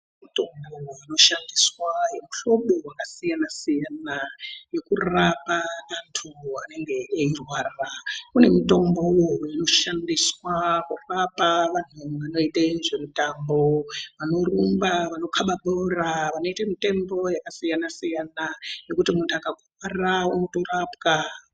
Mitombo inoshandiswe yemuhlobo yakasiyana siyana Yekurapa antu anenge eirwara kune mutombo unoshandiswa kurapa vanoite zvemutambovanorumba vanokaba bhora vanoite mitembo yakasiyana siyana yokuti muntu akakuwara unotorapwa.